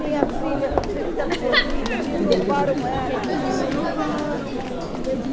Minha filha está perdida, me roubaram ela.